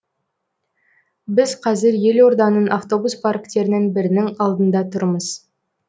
біз қазір елорданың автобус парктерінің бірінің алдында тұрмыз